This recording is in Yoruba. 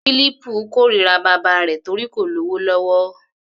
Fílípù kórira bàbá rẹ̀ torí kò lówó lọ́wọ́.